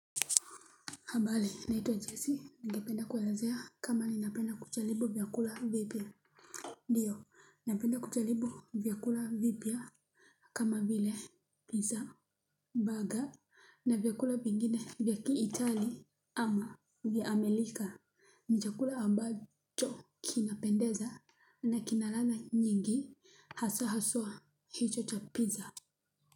Habari naitwa jessy ningependa kuelezea kama ninapenda kucharibu vyakula vipya ndio napenda kucharibu vyakula vipya kama vile pizza, burger na vyakula vingine vya ki italy ama vya amerika ni chakula ambacho kinapendeza na kina ladha nyingi hasa haswa hicho cha pizza.